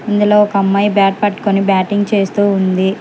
ఇందులో ఒక అమ్మాయి బ్యాట్ పాట్కుని బ్యాటింగ్ చేస్తూ ఉంది.